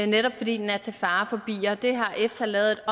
netop fordi den er til fare for bier det har efsa lavet